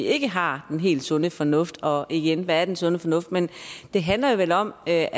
ikke har den helt sunde fornuft og igen hvad er den sunde fornuft men det handler jo vel om at